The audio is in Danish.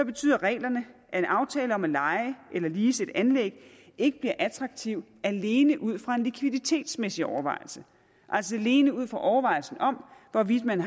betyder reglerne at en aftale om at leje eller lease et anlæg ikke bliver attraktiv alene ud fra en likviditetsmæssig overvejelse altså alene ud fra overvejelsen om hvorvidt man